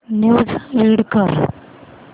news read कर